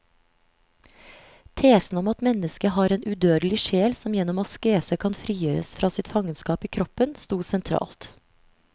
Tesen om at mennesket har en udødelig sjel som gjennom askese kan frigjøres fra sitt fangenskap i kroppen, stod sentralt.